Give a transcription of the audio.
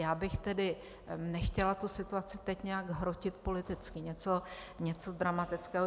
Já bych tedy nechtěla tu situaci teď nějak hrotit politicky, něco dramatického.